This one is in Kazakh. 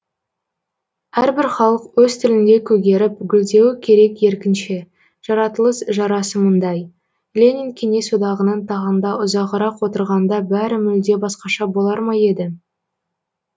әрбір халық өз тілінде көгеріп гүлдеуі керек еркінше жаратылыс жарасымындай ленин кеңес одағының тағында ұзағырақ отырғанда бәрі мүлде басқаша болар ма еді